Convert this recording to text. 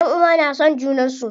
Ƴanʼuwa na son junan su.